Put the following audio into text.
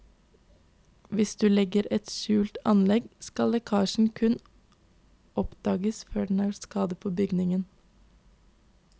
Hvis du legger et skjult anlegg, skal lekkasjer kunne oppdages før den har gjort skade på bygningen.